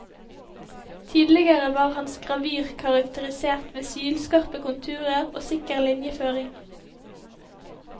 Tidligere var hans gravyr karakterisert ved sylskarpe konturer og sikker linjeføring.